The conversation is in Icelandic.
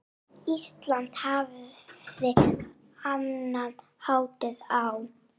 Ísland hafði annan hátt á.